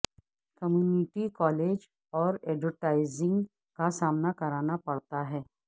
community college اور advertising کا سامنا کرنا پڑتا ہے